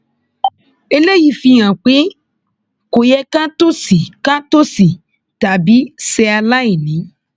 eléyìí fi hàn pé kò yẹ ká tòṣì ká tòṣì tàbí ṣe aláìní